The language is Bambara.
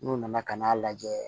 N'u nana ka n'a lajɛ